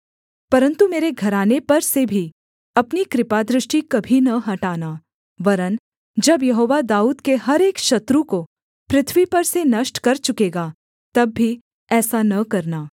परन्तु मेरे घराने पर से भी अपनी कृपादृष्टि कभी न हटाना वरन् जब यहोवा दाऊद के हर एक शत्रु को पृथ्वी पर से नष्ट कर चुकेगा तब भी ऐसा न करना